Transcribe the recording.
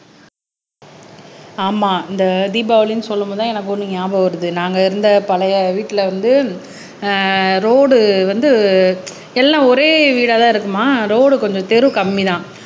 ஆமா இந்த தீபாவளின்னு சொல்லும் போதுதான் எனக்கு ஒண்ணு ஞாபகம் வருது நாங்க இருந்த பழைய வீட்டுல வந்து அஹ் ரோடு வந்து எல்லாம் ஒரே வீடாதான் இருக்குமா ரோடு கொஞ்சம் தெரு கம்மிதான்